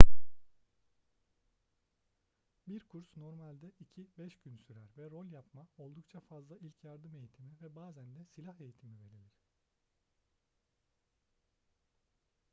bir kurs normalde 2-5 gün sürer ve rol yapma oldukça fazla ilk yardım eğitimi ve bazen de silah eğitimi verilir